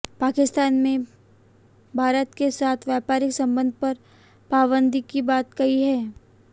पाकिस्तान ने भारत के साथ व्यापारिक संबंध पर पाबंदी की बात कही है